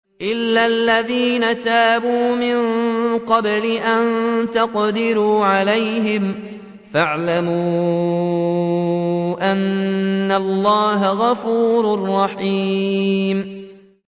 إِلَّا الَّذِينَ تَابُوا مِن قَبْلِ أَن تَقْدِرُوا عَلَيْهِمْ ۖ فَاعْلَمُوا أَنَّ اللَّهَ غَفُورٌ رَّحِيمٌ